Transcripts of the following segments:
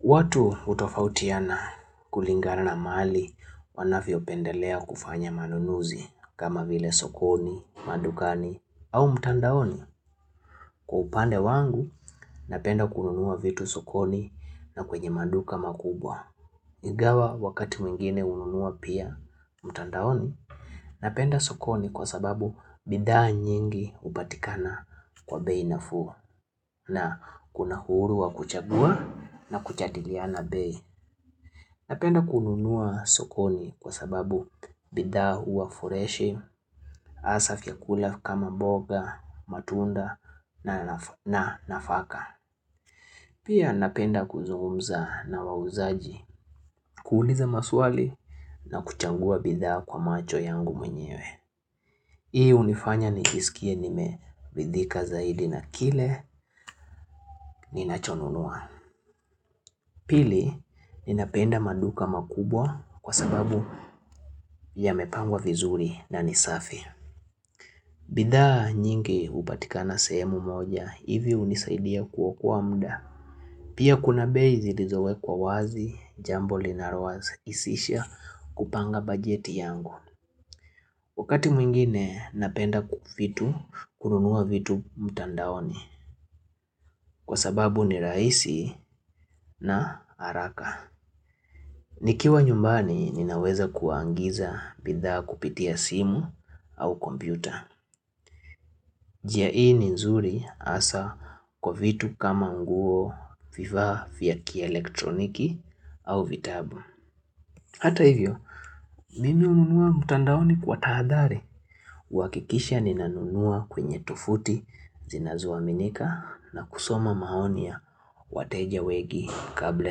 Watu hutofautiana kulingana na mahali wanavyopendelea kufanya manunuzi kama vile sokoni, madukani au mtandaoni kwa upande wangu napenda kununua vitu sokoni na kwenye maduka makubwa. Ingawa wakati mwingine hununua pia, mtandaoni, napenda sokoni kwa sababu bidhaa nyingi hupatikana kwa bei nafuu na kuna uhuru wa kuchagua na kujadiliana bei. Napenda kununua sokoni kwa sababu bidhaa huwa freshi, hasa vyakula kama mboga, matunda na nafaka. Pia napenda kuzungumza na wauzaji, kuuliza maswali na kuchagua bidhaa kwa macho yangu mwenyewe. Hii hunifanya nijisikie nimeridhika zaidi na kile ninachonunua. Pili, ninapenda maduka makubwa kwa sababu yamepangwa vizuri na ni safi. Bidhaa nyingi hupatikana sehemu moja, hivi hunisaidia kuokoa muda. Pia kuna bei zilizo wekwa wazi jambo linalo rahisisha kupanga bajeti yangu. Wakati mwingine napenda ku vitu kununua vitu mtandaoni kwa sababu ni rahisi na haraka. Nikiwa nyumbani ninaweza kuagiza bidhaa kupitia simu au kompyuta. Njia ni nzuri hasa kwa vitu kama nguo vifaa vya kielektroniki au vitabu. Hata hivyo, mimi hununua mtandaoni kwa tahadhari kuhakikisha ninanunua kwenye tovuti zinazo aminika na kusoma maoni ya wateja wengi kabla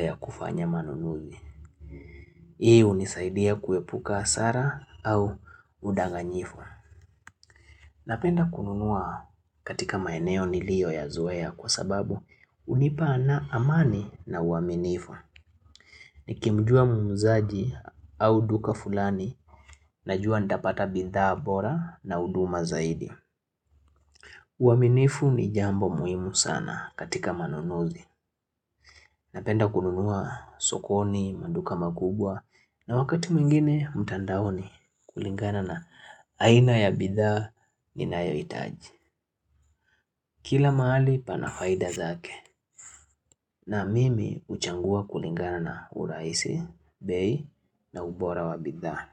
ya kufanya manunuzi Hii hunisaidia kuepuka hasara au udanganyifu Napenda kununua katika maeneo niliyoyazoea kwa sababu hunipa na amani na uaminifu Nikimjua muuzaji au duka fulani, najua nitapata bidhaa bora na huduma zaidi. Uaminifu ni jambo muhimu sana katika manunuzi. Napenda kununua sokoni, maduka makubwa, na wakati mwingine mtandaoni kulingana na aina ya bidhaa ninayohitaji. Kila mahali pana faida zake, na mimi huchagua kulingana na urahisi, bei na ubora wa bidhaa.